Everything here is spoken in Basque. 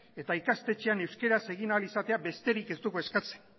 eta ikastetxean euskaraz egin ahal izatea besterik ez dugu eskatzen